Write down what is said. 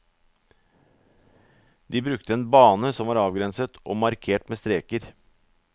De brukte en bane som var avgrenset og markert med streker.